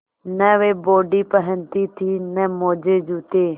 न वे बॉडी पहनती थी न मोजेजूते